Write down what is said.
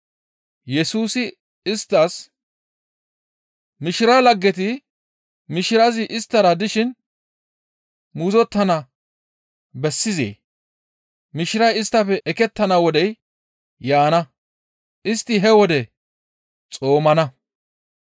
Yesusi isttas, «Mishiraa laggeti mishirazi isttara dishin muuzottana bessizee? Mishiray isttafe ekettana wodey yaana; istti he wode xoomana.